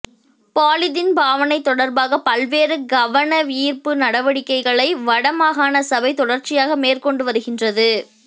polythene பாவனை தொடர்பாக பல்வேறு கவனயீர்ப்பு நடவடிக்கைகளை வடமாகாணசபை தொடர்ச்சியாக மேற்கொண்டு வருகின்றது